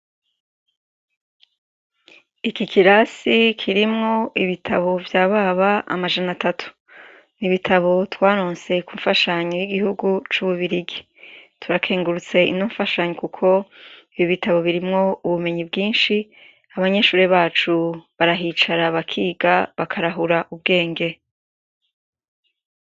Ikirasi kirimwo ibitabo vyababa amajana atatu. ibitabu twaronse kumfashanyo yigihugu cububiligi. turakengurutse ino mfashanyo ibitabo birimwo ubumenyi bwinshi. abanyeshure bacu barahicara bakiga bakarahura Ubwenge.